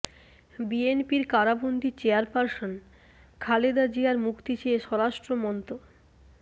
বিএনপির কারাবন্দী চেয়ারপার্সন খালেদা জিয়ার মুক্তি চেয়ে স্বরাষ্ট্র মন্ত্